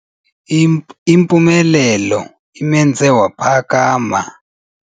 Impumelelo imenze waphakama.